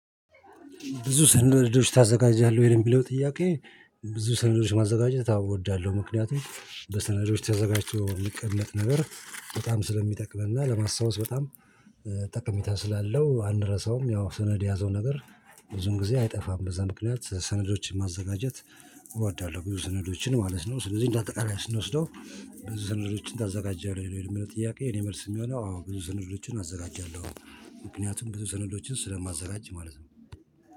ብዙ ሰነዶች ታዘጋጃለህ ወይ የሚለው ጥያቄ ብዙ ሰነዶች ማዘጋጀት አዎ አወዳለሁ ምክንያቱም በሰነዶች ተዘጋጅቶ የሚቀመጥ ነበር በጣም ስለሚጠቅመን እና ለማስታወስ በጣም ጠቀሜታ ስላለው አንረሳውም ያው ሰነድ የያዘውን ነገር ብዙን ጊዜ አይጠፋም በዛ ምክንያት ሰነዶችን ማዘጋጀት እወዳለሁ ብዙ ስነዶችን ማለት ነው ስለዚህ እንዳጠቃላይ ስንወስደው ብዙ ስነዶችን ታዘጋጀለህ ወይ? ይሄን ጥያቄ የኔ መልስ የሚሆነው አዎ ብዙ ሰነዶችን አዘጋጃለሁ። ምክንያቱም ብዙ ሰነዶችን ስለማዘጋጅ ማለት ነው።